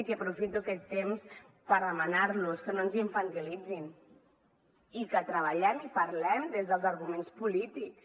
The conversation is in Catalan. i aprofito aquest temps per demanar los que no ens infantilitzin i que treballem i parlem des dels arguments polítics